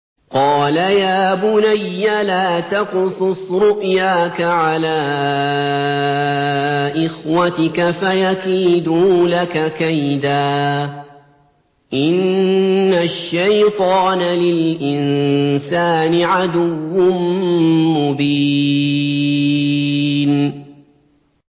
قَالَ يَا بُنَيَّ لَا تَقْصُصْ رُؤْيَاكَ عَلَىٰ إِخْوَتِكَ فَيَكِيدُوا لَكَ كَيْدًا ۖ إِنَّ الشَّيْطَانَ لِلْإِنسَانِ عَدُوٌّ مُّبِينٌ